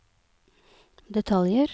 detaljer